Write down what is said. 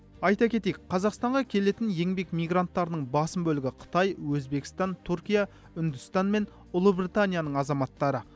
айта кетейік қазақстанға келетін еңбек мигранттарының басым бөлігі қытай өзбекстан түркия үндістан мен ұлыбританияның азаматтары